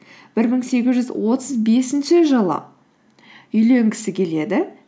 бір мың сегіз жүз отыз бесінші жылы үйленгісі келеді